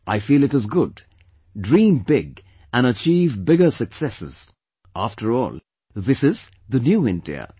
I feel it is good, dream big and achieve bigger successes; after all, this is "the New India"